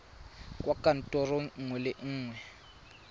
kwa kantorong nngwe le nngwe